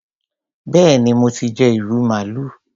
Béèni mo ti jẹ ìrù màálù.